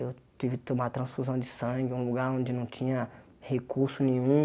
Eu estive que tomar transfusão de sangue em um lugar onde não tinha recurso nenhum.